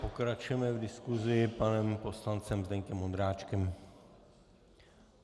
Pokračujeme v diskusi panem poslancem Zdeňkem Ondráčkem.